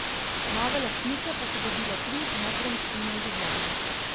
Nove lastnike pa so dobile tri nepremičnine v Ljubljani.